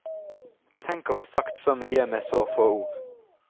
Tenk å få sagt så mye med så få ord.